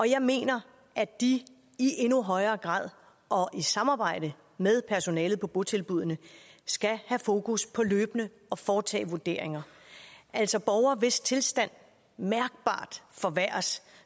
jeg mener at de i endnu højere grad og i samarbejde med personalet på botilbuddene skal have fokus på løbende at foretage vurderinger altså borgere hvis tilstand mærkbart forværres